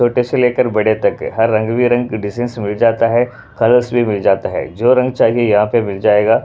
छोटे से लेकर बड़े तक हर रंग-बिरंग की डिजाइनस मिल जाता है कलर्स भी मिल जाता है जो रंग चाहिए यहाँ पे मिल जाएगा।